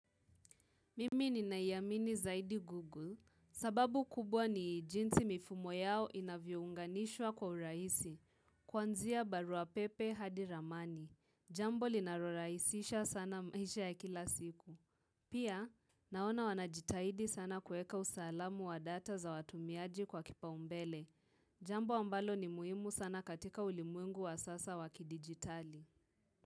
Mimi ninayamini zaidi Google, sababu kubwa ni jinsi mifumo yao inavyo unganishwa kwa urahisi, kuanzia barua pepe hadi ramani. Jambo linalorahisisha sana maisha ya kila siku. Pia, naona wanajitahidi sana kueka usalamu wa data za watumiaji kwa kipaumbele. Jambo ambalo ni muhimu sana katika ulimwengu wa sasa waki digitali.